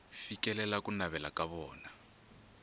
fikelela ku navela ka vona